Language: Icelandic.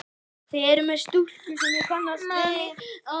Þið eruð með stúlku sem ég kannast við!